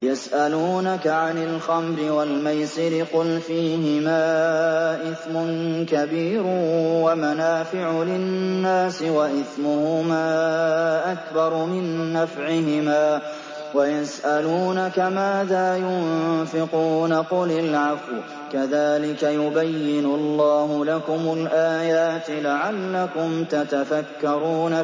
۞ يَسْأَلُونَكَ عَنِ الْخَمْرِ وَالْمَيْسِرِ ۖ قُلْ فِيهِمَا إِثْمٌ كَبِيرٌ وَمَنَافِعُ لِلنَّاسِ وَإِثْمُهُمَا أَكْبَرُ مِن نَّفْعِهِمَا ۗ وَيَسْأَلُونَكَ مَاذَا يُنفِقُونَ قُلِ الْعَفْوَ ۗ كَذَٰلِكَ يُبَيِّنُ اللَّهُ لَكُمُ الْآيَاتِ لَعَلَّكُمْ تَتَفَكَّرُونَ